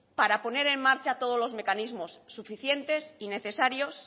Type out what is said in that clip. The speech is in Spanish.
para poner en marcha todos los mecanismos suficientes y necesarios